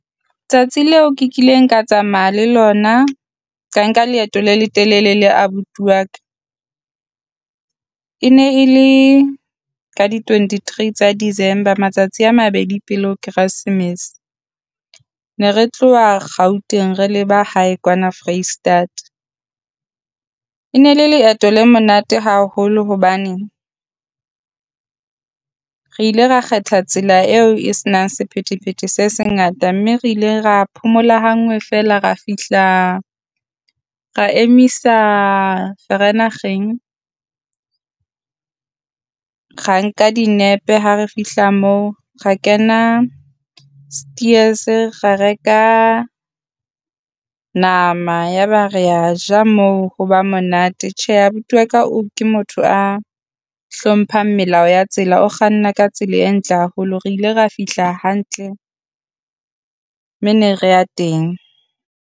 Tsatsi leo kileng ka tsamaya le lona ka nka leeto le letelele le abuti wa ka. E ne e le ka di twenty-three tsa December, matsatsi a mabedi pele ho keresemes, ne re tloha Gauteng re le ba hae kwana Foreisetata. E ne le leeto le monate haholo hobane re ile ra kgetha tsela eo e senang sephethephethe se sengata, mme re ile ra phomola hangwe feela re fihla ra emisa Vereeniging. Ra nka dinepe ha re fihla moo ra kena Steers ra reka nama ya ba rea ja moo. Ho ba monate tjhe abuti wa ka o ke motho a hlompheng melao ya tsela o kganna ka tsela e ntle haholo, re ile ra fihla hantle mme ne re ya teng.